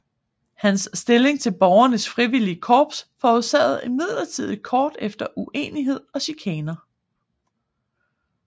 Hans stilling til borgernes frivillige korps forårsagede imidlertid kort efter uenighed og chikaner